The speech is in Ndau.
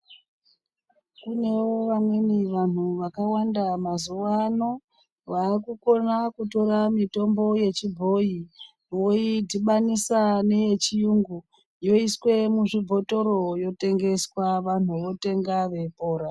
Kunewo vamweni vantu vakawanda mazuwa ano vakukona kutora mitombo yechibhoyi. Voidhibanisa neye chiyungu yoiswe muzvibhotoro yotengeswa vantu votenga veipora.